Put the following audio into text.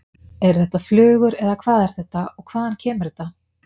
Eru þetta flugur eða hvað er þetta og hvaðan kemur þetta?